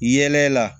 Yɛlɛ la